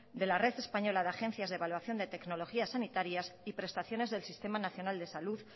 de la red española de agencias de evaluación de tecnologías sanitarias y prestaciones del sistema nacional de salud